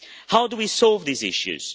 How do we solve these issues?